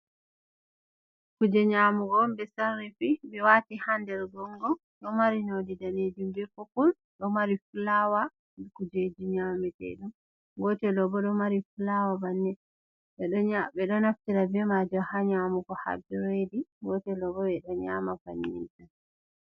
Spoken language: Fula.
Kuje nyamugo on ɓe sarifi ɓe wati ha nder gongon ɗo mari nonde danejum be poppul ɗo mari fulawa be kuje dunyamete, gotel ɗo bo ɗo mari fulawa bannin ɓe ɗo naftira beiman ha nyamugo ha bdredi, gotel ɗo bo ɓe ɗo nyama bannin.